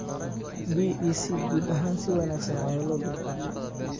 DEC guud ahaan si wanaagsan ayaa loo dulqaatay.